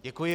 Děkuji.